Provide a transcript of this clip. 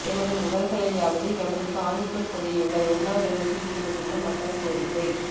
எமது உடல்களையாவது எமது காணிக்குள் புதையுங்கள் உண்ணாவிரதத்தில் ஈடுபட்டுள்ள மக்கள் கோரிக்கை